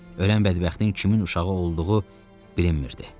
Ölən bədbəxtin kimin uşağı olduğu bilinmirdi.